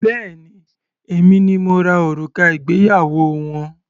Béèni èmi ni mo rà òrùka ìgbéyàwó wọn.